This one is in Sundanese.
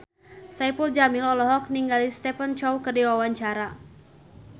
Saipul Jamil olohok ningali Stephen Chow keur diwawancara